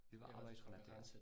Det var arbejdsrelateret